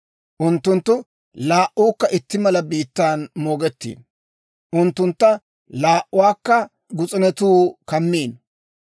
Unttunttu laa"uukka itti mala biittan moogettiino; unttuntta laa"uwaakka gus'unetuu kammiino.